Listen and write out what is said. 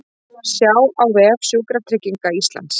Sjá á vef Sjúkratrygginga Íslands